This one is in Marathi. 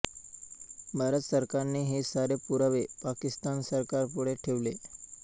भारत सरकारने हे सारे पुरावे पाकिस्तान सरकारपुढे ठेवले